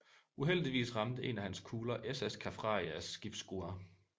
Uheldigvis ramte en af hans kugler SS Kaffrarias skibsskrue